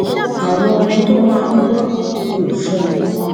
àwọn orin tó máa ń gbọ ku fun